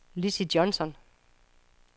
Lizzie Johnsen